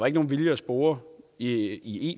ikke nogen vilje at spore i